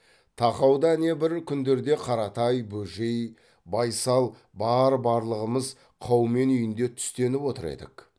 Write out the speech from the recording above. тақауда әне бір күндерде қаратай бөжей байсал бар барлығымыз қаумен үйінде түстеніп отыр едік